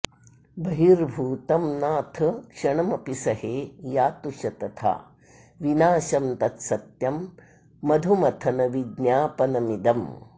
बहिर्भूतं नाथ क्षणमपि सहे यातु शतथा विनाशं तत्सत्यं मधुमथन विज्ञापनमिदम्